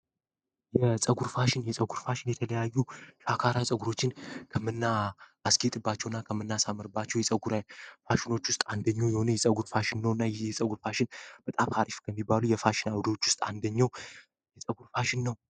የፀር ፋሽን የጸጉር ፋሽን የተለያዩ ፋካራ ጸጉሮችን ከምና አስኬጥባቸው እና ከምና ሳመርባቸው የጉፋሽኖች ውስጥ አንደኞ የሆኑ የጸጉር ፋሽን ነው እና ይ የጸጉር ፋሽን በጣብ ካሪፍ ከሚባሉ የፋሽዎች ውስጥ አንደኛ የጸጉር ፋሽን ነው።